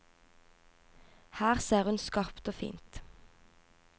Her ser hun skarpt og fint.